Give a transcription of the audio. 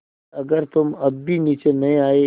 अगर तुम अब भी नीचे नहीं आये